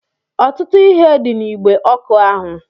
Ọtụtụ ihe dị n'igbe ọkụ ahụ